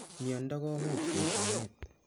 Miondo komuch koip meet